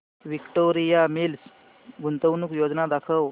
Victoria Mills गुंतवणूक योजना दाखव